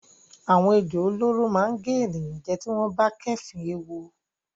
Àwọn ejò olóró máa gé ènìyàn jẹ tí wọ́n bá kéèéfín ewu.